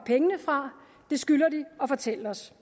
fra det skylder de at fortælle os